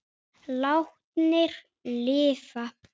Látnir lifa